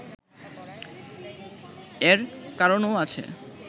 এর কারণও আছে